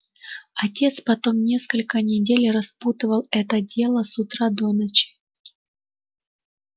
отец потом несколько недель распутывал это дело с утра до ночи